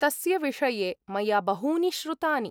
तस्य विषये मया बहूनि श्रुतानि।